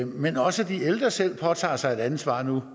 men også at de ældre selv påtager sig et ansvar nu